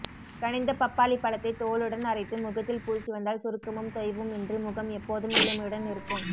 கனிந்த பப்பாளி பழத்தை தோலுடன் அரைத்து முகத்தில் பூசிவந்தால் சுருக்கமும் தொய்வும் இன்றி முகம் எப்போதும் இளமையுடன் இருக்கும்